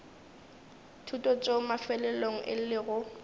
thuto tšeo mafelelong e lego